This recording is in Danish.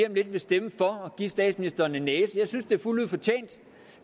om lidt vil stemme for at give statsministeren en næse jeg synes det er fuldt ud fortjent